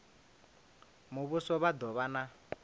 muvhuso vha do vha na